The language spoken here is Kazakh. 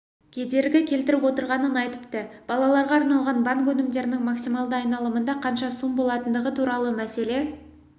кедергі келтіріп отырғанын айтыпты балаларға арналған банк өнімдерінің максималды айналымында қанша сум болатындығы туралы мәселе